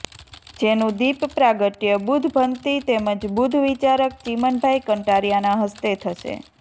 જેનું દિપ પ્રાગટય બુધ્ધભંતી તેમજ બુધ્ધ વિચારક ચિમનભાઈ કંટારિયાના હસ્તે થશે